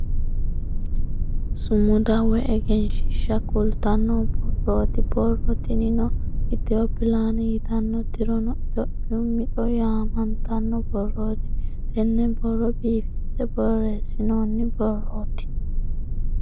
Sumuda woy egensiishsha kultanno borrooti borro tinino ethio plan yitanno tirono itiyophiyu mixo yaamantanno borrooti. Tenne borro biifinse borreessinoonni borrooti.